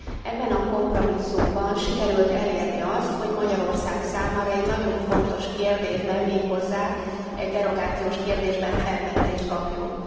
Ebben a kompromisszumban sikerült elérni azt, hogy Magyarország számára egy nagyon fontos kérdésben, méghozzá egy derogációs kérdésben felmentést kapjunk.